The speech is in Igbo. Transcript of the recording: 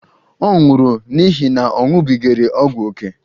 Ọ nwụrụ n'ihi na ọ ṅụbigara ọgwụ ókè